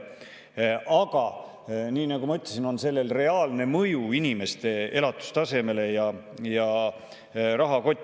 Aga nii nagu ma ütlesin, on sellel reaalne mõju inimeste elatustasemele ja rahakotile.